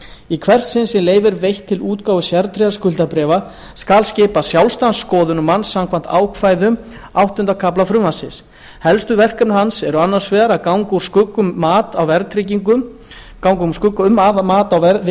í hvert sinn sem leyfi er veitt til útgáfu sértryggðra skuldabréfa skal skipa sjálfstæðan skoðunarmann samkvæmt ákvæðum áttunda kafla frumvarpsins helstu verkefni hans eru annars vegar að ganga úr skugga um að mat á